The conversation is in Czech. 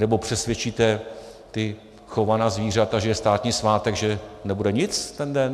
Nebo přesvědčíte ta chovaná zvířata, že je státní svátek, že nebude nic ten den?